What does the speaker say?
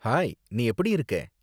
Hi, நீ எப்படி இருக்கே?